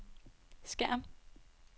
skærm